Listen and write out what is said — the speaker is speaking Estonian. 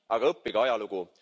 aga õppige ajalugu!